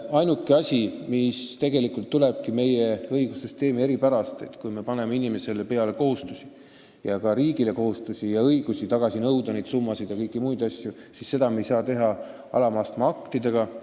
Ainuke põhjus tuleb tegelikult meie õigussüsteemi eripärast: kui me paneme inimesele kohustusi ning ka riigile kohustusi ja õigusi nõuda tagasi summasid ja kõiki muid asju, siis me ei saa seda teha alamastme aktidega.